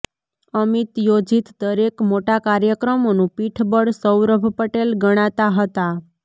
અમિત યોજીત દરેક મોટા કાર્યક્રમોનું પીઠબળ સૌરભ પટેલ ગણાતા હતા